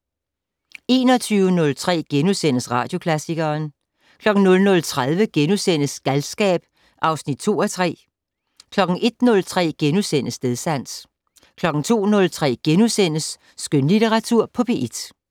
21:03: Radioklassikeren * 00:30: Galskab (2:3)* 01:03: Stedsans * 02:03: Skønlitteratur på P1 *